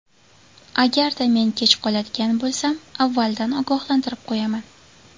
Agarda men kech qoladigan bo‘lsam, avvaldan ogohlantirib qo‘yaman.